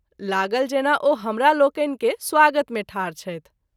लागल जेना ओ हमरा लोकनि के स्वागत मे ठाढ छथि।